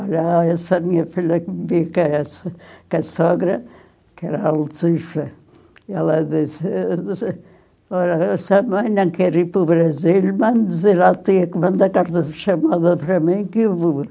Olha, essa minha filha que me vê, que essa, é a sogra, que era a Letícia, ela disse, olha, sua mãe não quer ir para o Brasil, manda dizer à tia que manda que eu vou.